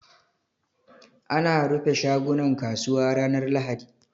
Ana rufe shagunan kasuwa ranar lahadi